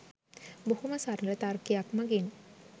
බොහොම සරල තර්කයක් මගින්